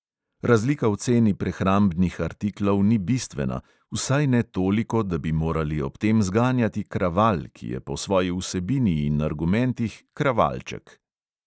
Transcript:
Razlika v ceni prehrambnih artiklov ni bistvena, vsaj ne toliko, da bi morali ob tem zganjati kraval, ki je po svoji vsebini in argumentih kravalček.